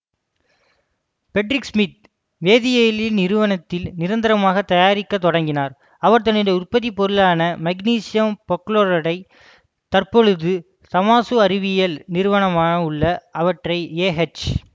Friedrich Smith வேதியியல் நிறுவனத்தில் நிரந்தரமாக தயாரிக்கத் தொடங்கினார் அவர் தன்னுடைய உற்பத்தி பொருளான மக்னீசியம் பெர்குளோரேட்டை தற்பொழுது தமாசு அறிவியல் நிறுவனமாக உள்ள அன்றைய ஏஎச்